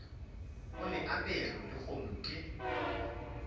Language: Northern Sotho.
o le aperego lehono ke